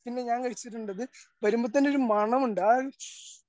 പിന്നെ ഞാൻ കഴിച്ചിട്ടുണ്ടത് വരുമ്പോ തന്നെ ഒരു മണമുണ്ട് ആ